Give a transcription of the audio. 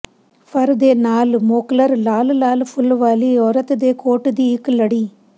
ਫਰ ਦੇ ਨਾਲ ਮੋਕਲਰ ਲਾਲ ਲਾਲ ਫੁੱਲ ਵਾਲੀ ਔਰਤ ਦੇ ਕੋਟ ਦੀ ਇੱਕ ਲੜੀ